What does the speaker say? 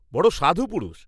রড় সাধু পুরুষ!